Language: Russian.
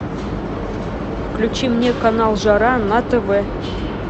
включи мне канал жара на тв